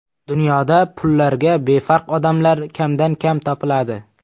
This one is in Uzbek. Dunyoda pullarga befarq odamlar kamdan-kam topiladi.